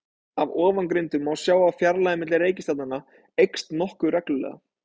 Af ofangreindu má sjá að fjarlægðin milli reikistjarnanna eykst nokkuð reglulega.